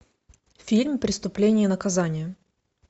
фильм преступление и наказание